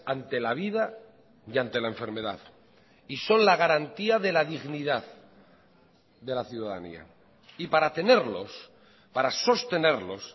ante la vida y ante la enfermedad y son la garantía de la dignidad de la ciudadanía y para tenerlos para sostenerlos